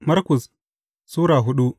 Markus Sura hudu